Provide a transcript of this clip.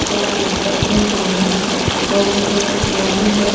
या आप देख सकते हैं सामने बहोत सुंदर लाइटिंग है.